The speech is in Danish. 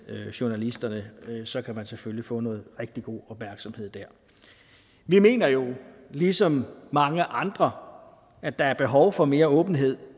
journalisterne så kan man selvfølgelig få noget rigtig god opmærksomhed der vi mener jo ligesom mange andre at der er behov for mere åbenhed